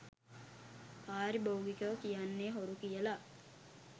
පාරිභෝගිකයො කියන්නෙ හොරු කියලා.